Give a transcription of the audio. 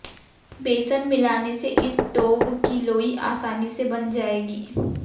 बेसन मिलाने से इस डोव की लोई आसानी से बंध जाएगी